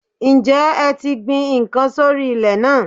Ǹjẹ́ ẹ ti gbin n kan sórí ilè náà